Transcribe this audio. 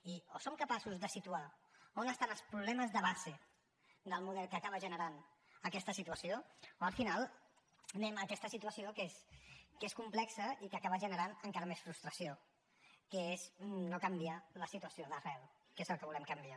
i o som capaços de situar on estan els problemes de base del model que acaba generant aquesta situació o al final anem a aquesta situació que és complexa i que acaba generant encara més frustració que és no canviar la situació d’arrel que és el que volem canviar